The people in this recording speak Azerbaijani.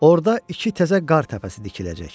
Orda iki təzə qar təpəsi tikiləcək.